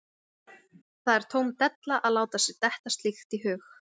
Það var það eina sem ruglaði mig í ríminu í fyrstunni.